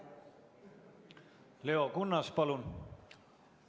Leo Kunnas, palun!